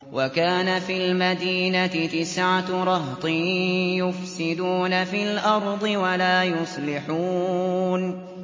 وَكَانَ فِي الْمَدِينَةِ تِسْعَةُ رَهْطٍ يُفْسِدُونَ فِي الْأَرْضِ وَلَا يُصْلِحُونَ